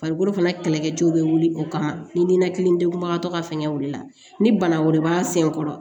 Farikolo fana kɛlɛkɛcɛw bɛ wuli o kama ni ninakilidenkunba tɔ ka fɛngɛ o de la ni bana wɛrɛ b'an sen kɔrɔ